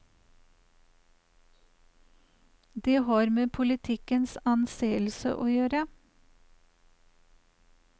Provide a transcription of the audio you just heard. Det har med politikkens anseelse å gjøre.